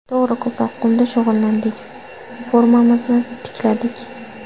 To‘g‘ri, ko‘proq qumda shug‘ullandik, formamizni tikladik.